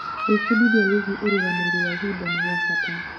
Gwĩbundithic wĩgiĩ ũrũgamĩrĩri wa ihinda nĩ gwa bata.